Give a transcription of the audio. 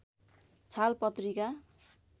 छाल पत्रिका